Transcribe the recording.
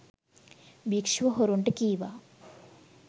භික්‍ෂුව හොරුන්ට කීවා